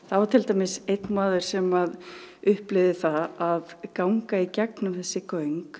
var til dæmis einn maður sem upplifði það að ganga í gegnum þessi göng